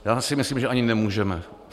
Já si myslím, že ani nemůžeme.